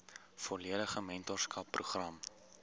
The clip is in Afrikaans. volledige mentorskap program